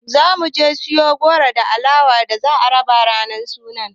Za mu je siyo goro da alawa da za a raba ranar suna.